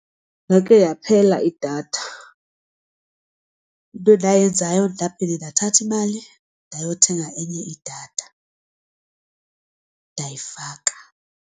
Yakhe yaphela idatha, into endayenzayo ndaphinda ndathatha imali ndayothenga enye idatha ndayifaka.